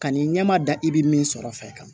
Kan'i ɲɛ ma da i bɛ min sɔrɔ fɛ